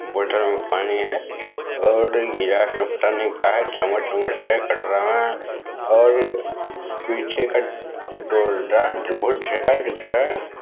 बोतल में पानी है और गिलास में पता नहीं का है चम्मच वमस है कटोरा में और पीछे का दिख रहा है।